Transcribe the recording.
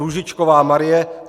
Růžičková Marie